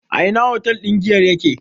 A ina otal ɗin giyar yake?